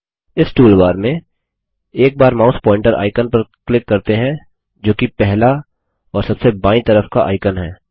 इस टूलबार में एक बार माउस पॉइंटर आइकन पर क्लिक करते हैं जोकि पहला और सबसे बायीं तरफ का आइकन है